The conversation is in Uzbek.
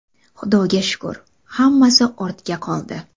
Xudoga shukr, hammasi ortda qoldi.